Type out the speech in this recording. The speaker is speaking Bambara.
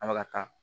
An bɛ ka taa